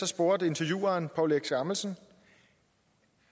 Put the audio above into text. spurgte intervieweren poul erik skammelsen